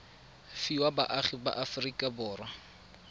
fiwa baagi ba aforika borwa